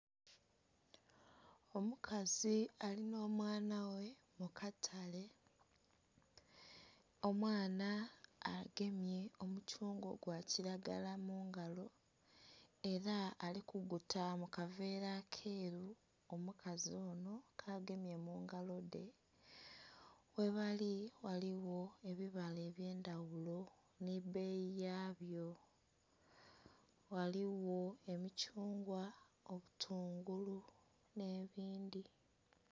Omukazi ali nh'omwana ghe mu katale. Omwana agemye omuthungwa ogwa kilagala mu ngalo ela ali kuguta mu kaveera akeeru omukazi onho kaagemye mu ngalo dhe. Ghebali ghaligho ebibala eby'endaghulo nhi bbeyi yabyo. Ghaligho emithungwa, obutungulu nh'ebindhi.